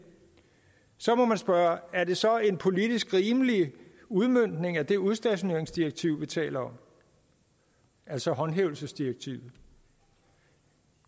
så må man spørge er det så en politisk rimelig udmøntning af det udstationeringsdirektiv vi taler om altså håndhævelsesdirektivet